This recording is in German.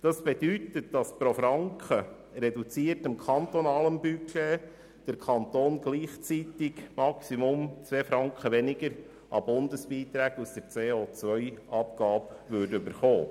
Das bedeutet, dass pro Franken reduziertes kantonales Budget der Kanton gleichzeitig maximal zwei Franken weniger Bundesbeiträge aus der CO-Abgabe bekommt.